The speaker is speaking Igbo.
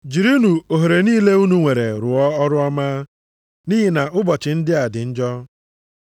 Jirinụ ohere niile unu nwere rụọ ọrụ ọma, nʼihi na ụbọchị ndị a dị njọ.